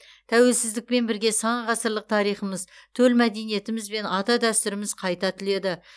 тәуелсіздікпен бірге сан ғасырлық тарихымыз төл мәдениетіміз бен ата дәстүріміз қайта түледі